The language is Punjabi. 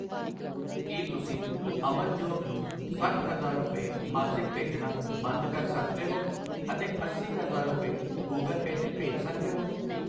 ਕਿ ਤੁਸੀਂ ਅਮਨਜੋਤ ਨੂੰ ਸੱਠ ਹਜ਼ਾਰ ਰੁਪਏ ਮਾਸਿਕ ਭੇਜਣਾ ਬੰਦ ਕਰ ਸਕਦੇ ਹੋ ਅਤੇ ਅੱਸੀ ਹਜ਼ਾਰ ਰੁਪਏ ਗੁਗਲ ਪੇ ਤੇ ਭੇਜ ਸਕਦੇ ਹੋ ?